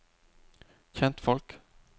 kjentfolk